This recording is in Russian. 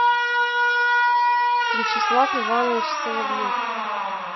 вячеслав иванович соловьев